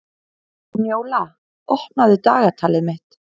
Njóla, opnaðu dagatalið mitt.